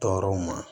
Tɔɔrɔw ma